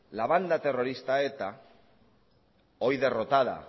la banda terrorista eta hoy derrotada